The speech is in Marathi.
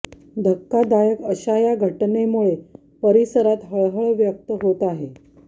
धक्कादायक अशा या घटनेमुळे परिसरात हळहळ व्यक्त होत आहे